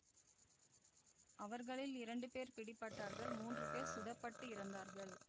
அவர்களில் இரண்டு பேர் பிடிபட்டார்கள் மூன்று பேர் சுட பட்டு இறந்தார்கள்